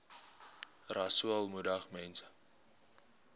rasool moedig mense